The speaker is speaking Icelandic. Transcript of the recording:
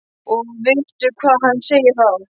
Og vittu hvað hann segir þá!